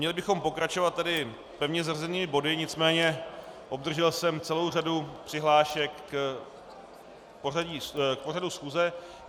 Měli bychom pokračovat tedy pevně zařazenými body, nicméně obdržel jsem celou řadu přihlášek k pořadu schůze.